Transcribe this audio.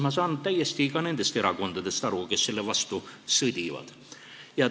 Ma saan täiesti aru ka nendest erakondadest, kes selle vastu sõdivad.